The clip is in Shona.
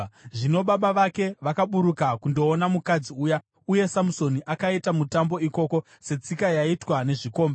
Zvino baba vake vakaburuka kundoona mukadzi uya. Uye Samusoni akaita mutambo ikoko, setsika yaiitwa nezvikomba.